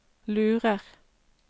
lurer